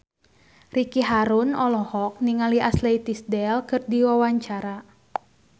Ricky Harun olohok ningali Ashley Tisdale keur diwawancara